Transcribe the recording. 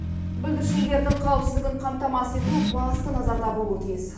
бүлдіршіндердің қауіпсіздігін қамтамасыз ету басты назарда болуы тиіс